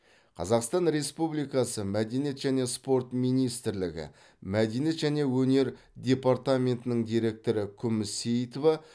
қазақстан республикасы мәдениет және спорт министрлігі мәдениет және өнер департаментінің директоры күміс сейітова